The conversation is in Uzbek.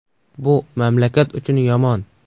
Bu mamlakat uchun yomon!”.